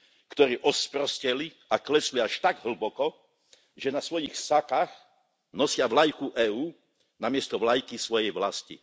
ktorí osprosteli a klesli až tak hlboko, že na svojich sakách nosia vlajku EÚ namiesto vlajky svojej vlasti.